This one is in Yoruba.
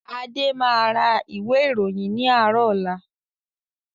Adé máa ra ìwé ìròyìn ni àárọ̀ ọ̀la.